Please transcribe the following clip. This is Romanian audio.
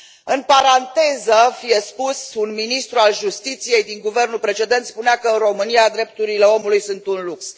În paranteză, fie spus, un ministru al justiției din guvernul precedent spunea că în România drepturile omului sunt un lux.